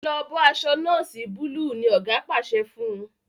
lọ bó aṣọ noosi Búlúù! ní oga pàṣẹ fún.